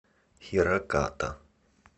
хираката